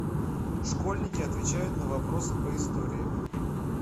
школьники отвечают на вопросы по истории